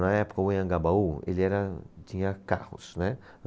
Na época, o Anhangabaú ele era, tinha carros, né?